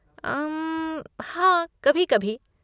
उम्म, हाँ कभी कभी।